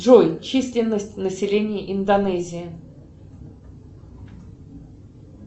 джой численность населения индонезии